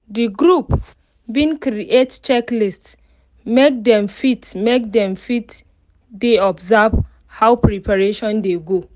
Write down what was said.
the group been create check list make them fit make them fit de observe how preparation dey go